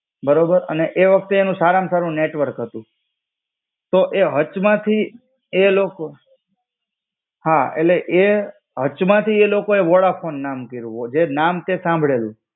બરાબર, ને એ વક્તે એનું સારામાં સારું નેટવર્ક હતું. તો એ હચ માંથી, એ લોકો હા એટલે એ, હચ માંથી એલોકોએ વોડાફોન નામ કઈરું. જે નામ તે સાંભળેલું